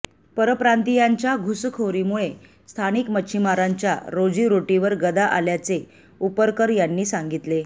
परप्रांतीयांच्य घुसकोरीमुळे स्थानिक मच्छीमारांच्या रोजीरोटीवर गदा आल्याचे उपरकर यांनी सांगितले